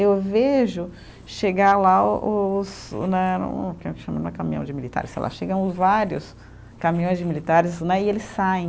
Eu vejo chegar lá o os o né, como que chama, não é caminhão de militares, sei lá, chegam os vários caminhões de militares né e eles saem.